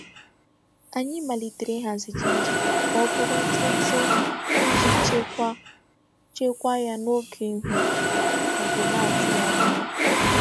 Anyị malitere ịhazi ginger ka ọ bụrụ ntụ ntụ iji chekwaa chekwaa ya n'oge ihu igwe na-atụghị anya ya.